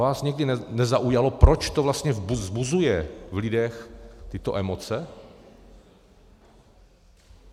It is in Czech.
Vás nikdy nezaujalo, proč to vlastně vzbuzuje v lidech tyto emoce?